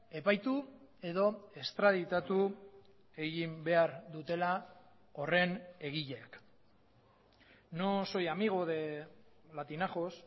epaitu edo estraditatu egin behar dutela horren egileak no soy amigo de latinajos